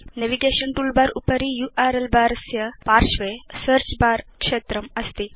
navigation toolbar उपरि URL bar स्य पार्श्वे सेऽर्च बर क्षेत्रम् अस्ति